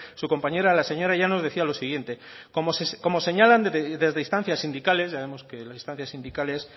su compañera la señora llanos decía lo siguiente como señalan desde instancias sindicales ya vemos que las instancias sindicales